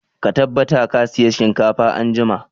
Ka tabbata ka saya shinkafa anjima!